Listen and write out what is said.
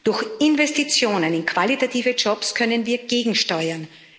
Durch Investitionen in qualitative Jobs können wir gegensteuern.